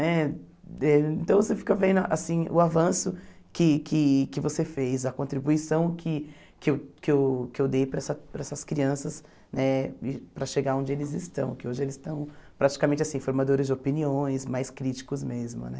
Né? Então você fica vendo assim o avanço que que que você fez, a contribuição que que eu que eu que eu dei para essa para essas crianças né para chegar onde eles estão, que hoje eles estão praticamente assim formadores de opiniões, mais críticos mesmo né.